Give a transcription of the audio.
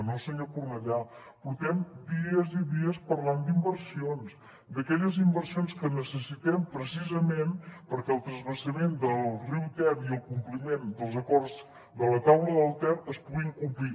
no senyor cornellà portem dies i dies parlant d’inversions d’aquelles inversions que necessitem precisament perquè el transvasament del riu ter i el compliment dels acords de la taula del ter es puguin complir